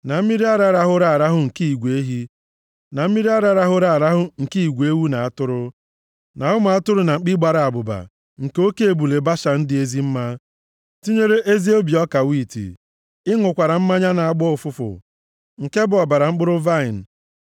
na mmiri ara rahụrụ arahụ nke igwe ehi, na mmiri ara rahụrụ arahụ nke igwe ewu na atụrụ, na ụmụ atụrụ na mkpi gbara abụba, na oke ebule Bashan dị ezi mma, tinyere ezi obi ọka wiiti. Ị ṅụkwara mmanya na-agbọ ụfụfụ, nke bụ ọbara mkpụrụ vaịnị.